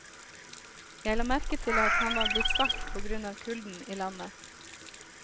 Jeg la merke til at han var blitt svart på grunn av kulden i landet.